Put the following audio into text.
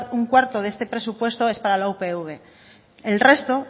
un cuarto de este presupuesto es para la upv el resto